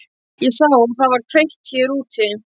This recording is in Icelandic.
Ég sá að það var kveikt hér úti.